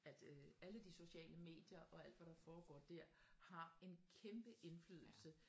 At øh alle de sociale medier og alt hvad der foregår der har en kæmpe indflydelse